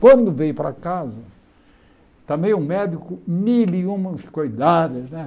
Quando veio para casa, também um médico mil e uma cuidados, né?